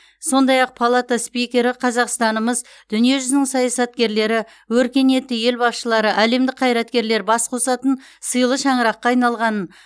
сондай ақ палата спикері қазақстанымыз дүниежүзінің саясаткерлері өркениетті ел басшылары әлемдік қайраткерлер бас қосатын сыйлы шаңыраққа айналғанын